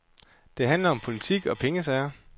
Det handler om politik og pengesager.